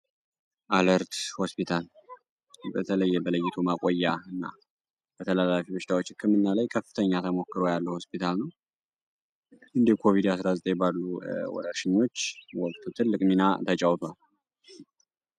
አለርት ሆስፒታል በተለየ በለይቱ ማቆያ እና በተተጫውቷል። ሽዳዎች እክምና ላይ ከፍተኛ ተሞክሮ ያለ ሆስፒታል ነው እንዲ ኮቪዲ 19 የባሉ ወሽኞች ወቅቱ ትልቅ ሚና ተጫውቷል